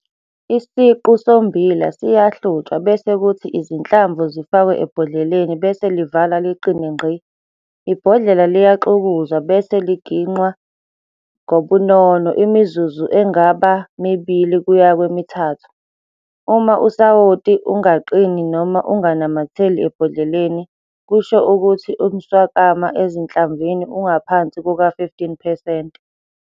Isiqu sommbila siyahlutshwa bese kuthi izinhlamvu zifakwe ebhodleleni bese livalwa liqine ngqi. Ibhodlela liyaxukuzwa bese liginqwa ngobunono imizuzu engaba 2 kuya ku-3. Uma usawoti ungaqini noma unganamatheli ebhodleleni, kusho ukuthi umswakama ezinhlamvini ungaphansi kuka-15 percent.